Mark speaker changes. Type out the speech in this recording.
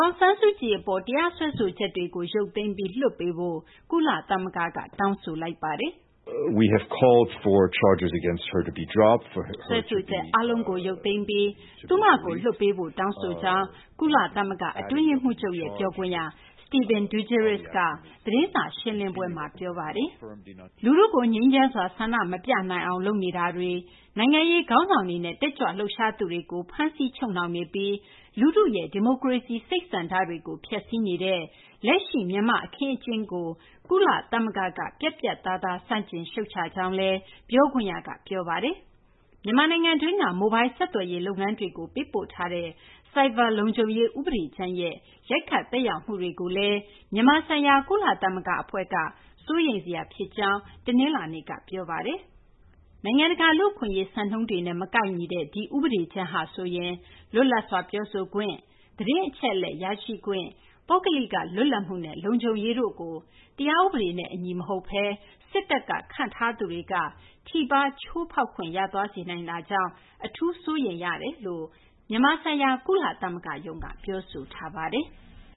Speaker 1: ာင်ဆန်းစုကြည် အပေါ် တရားစွဲဆိုချက်တွေကို ရုပ်သိမ်းပြီး လွှတ်ပေးဖို့ ကုလသမဂ္ဂက တောင်းဆိုလိုက်ပါတယ်။
Speaker 2: “ စွဲဆိုခ
Speaker 1: ျက် အားလုံးကို ရုပ်သိမ်းပြီး သူမကို လွှတ်ပေးဖို့ တောင်းဆိုကြောင်း" ကုလသမဂ္ဂ အတွင်းရေးမှူးချုပ်ရဲ့ ပြောခွင့်ရ Stephane Dujarric က သတင်းစာ ရှင်းလင်းပွဲမှာ ပြောဆိုခဲ့
Speaker 3: တာပါ။ လ
Speaker 1: ူထုကို ငြိမ်းချမ်းစွာ ဆန္ဒမပြနိုင်အောင် လုပ်နေတာတွေ၊ နိုင်ငံရေး ခေါင်းဆောင်တွေနဲ့ တက်ကြွလှုပ်ရှားသူတွေကို ဖမ်းဆီး ချုပ်နှောင်နေပြီး လူထုရဲ့ ဒီမိုကရေစီ စိတ်ဆန္ဒတွေကို ဖျက်စီးနေတဲ့ လက်ရှိ မြန်မာ့ အခင်းအကျင်းကို ကုလသမဂ္ဂက ပြတ်ပြတ်သားသား ဆန့်ကျင် ရှုတ်ချကြောင်းလည်း ပြောခွင့်ရက ပြောပါတယ်။ မြန်မာနိုင်ငံတွင်းက မိုလ်ဘိုင်းဆက်သွယ်ရေး လုပ်ငန်းတွေကို ပေးပို့ထားတဲ့ ဆိုက်ဘာလုံခြုံရေး ဥပဒေကြမ်းရဲ့ ရိုက်ခတ်သက်ရောက်မှုတွေကိုလည်း မြန်မာဆိုင်ရာ ကုလသမဂ္ဂ အဖွဲ့က စိုးရိမ်စရာ ဖြစ်ကြောင်း တနလာၤနေ့က ပြောဆိုထားပါတယ်။ နိုင်ငံတကာ လူ့အခွင့်အရေး စံနှုန်းတွေနဲ့ မကိုက်ညီတဲ့ ဒီဥပဒေကြမ်းဟာဆိုရင် လွတ်လပ်စွာ ပြောဆိုခွင့်၊ သတင်းအချက်အလက် ရရှိခွင့်၊ ပုဂ္ဂလိက လွတ်လပ်မှုနဲ့ လုံခြုံရေးတို့ကို တရားဥပဒေနဲ့ အညီမဟုတ်ဘဲ စစ်တပ်က ခန့်အပ်သူတွေက ထိပါး ချိုးဖောက်ခွင့်ရသွားစေနိုင်တာကြောင့် အထူးပဲ စိုးရိမ်ရပါကြောင်း မြန်မာဆိုင်ရာ ကုလသမဂ္ဂရုံးက ပြောဆိုထားပါတယ်။